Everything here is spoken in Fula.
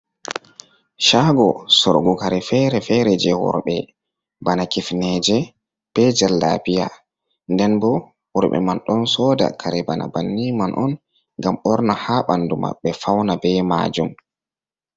caago soorugu kare feere-feere jay worɓe bana kifneeje bee jallaabiya nden boo worɓe man ɗon sooda kare bana banni man on ngam ɓorna haa ɓanndu maɓɓe fawna bee maajum.